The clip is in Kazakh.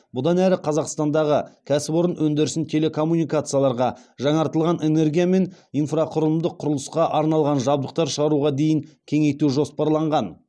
бұдан әрі қазақстандағы кәсіпорын өндірісін телекоммуникацияларға жаңартылған энергия мен инфрақұрылымдық құрылысқа арналған жабдықтар шығаруға дейін кеңейту жоспарланған